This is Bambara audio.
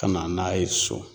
Ka na n'a ye so.